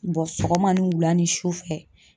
sɔgɔma ni wula ni sufɛ.